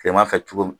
Kileman fɛ cogo min